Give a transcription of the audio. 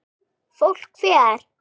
Fólk fer.